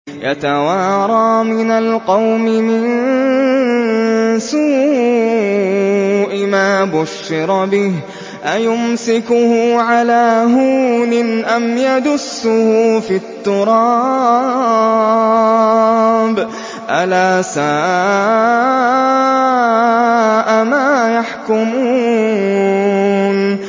يَتَوَارَىٰ مِنَ الْقَوْمِ مِن سُوءِ مَا بُشِّرَ بِهِ ۚ أَيُمْسِكُهُ عَلَىٰ هُونٍ أَمْ يَدُسُّهُ فِي التُّرَابِ ۗ أَلَا سَاءَ مَا يَحْكُمُونَ